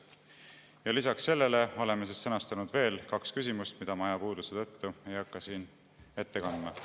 Ja lisaks sellele oleme sõnastanud veel kaks küsimust, mida ma ajapuuduse tõttu ei hakka siin ette kandma.